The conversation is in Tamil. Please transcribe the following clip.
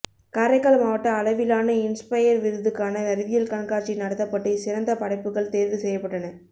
காரைக்கால் மாவட்ட அளவிலான இன்ஸ்பயா் விருதுக்கான அறிவியல் கண்காட்சி நடத்தப்பட்டு சிறந்த படைப்புகள் தோ்வு செய்யப்பட்டன